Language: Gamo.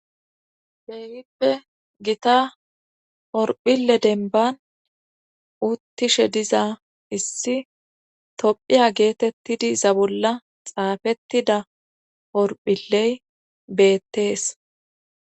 Keehippe gita horphile denban uttishe diza issi tophiya geetettidi za bolla xaafettida horphiley beettees.